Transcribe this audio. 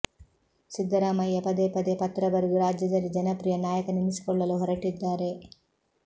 ಸಿದ್ಧರಾಮಯ್ಯ ಪದೇ ಪದೆ ಪತ್ರ ಬರೆದು ರಾಜ್ಯದಲ್ಲಿ ಜನಪ್ರಿಯ ನಾಯಕನೆನಿಸಿಕೊಳ್ಳಲು ಹೊರಟಿದ್ದಾರೆ